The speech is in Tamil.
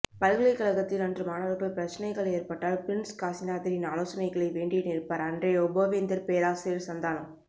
பல்கலைக்ழகத்தில் அன்று மாணவர்கள் பிரச்சனைகள் எற்பட்டால பிறிண்ஸ் காசிநாதரின் ஆலோசனைகளை வேண்டி நிற்பார் அன்றைய உபவேந்தர் பேராசிரியர் சந்தானம்